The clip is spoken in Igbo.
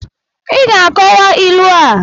Ị ga-akowa ilu a!